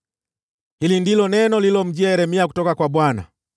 Hili ndilo neno lililomjia Yeremia kutoka kwa Bwana :